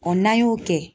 n'an y'o kɛ